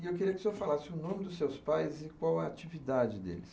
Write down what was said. E eu queria que o senhor falasse o nome dos seus pais e qual a atividade deles.